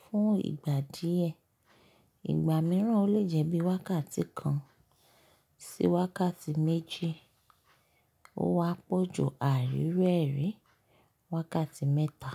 fún ìgbà díẹ̀. Ìgbà mìíràn o lè jẹ́ bí i wákàtí kan sí wákàtí méjì, o wá pọ̀ ju àárí ru ẹ́rí, wákàtí mẹ́ta.